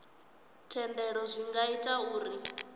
thendelo zwi nga ita uri